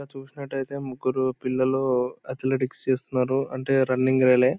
ఇక్కడ చూసినట్టైతే ముగ్గురు పిల్లలు అథ్లెటిక్స్ చేస్తున్నరు అంటే రన్నింగ్ రేలే --